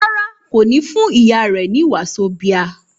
Rárá, kò ní fún ìyá rẹ ní wàzóbía